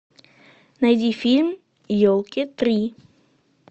найди фильм елки три